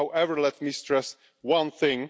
However, let me stress one thing.